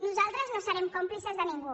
nosaltres no serem còmplices de ningú